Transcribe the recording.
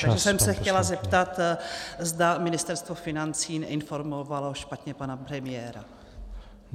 Takže jsem se chtěla zeptat, zda Ministerstvo financí neinformovalo špatně pana premiéra.